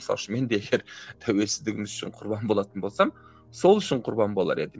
мысалы үшін мен де егер тәуелсіздігіміз үшін құрбан болатын болсам сол үшін құрбан болар едім